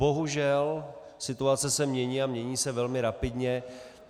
Bohužel situace se mění, a mění se velmi rapidně.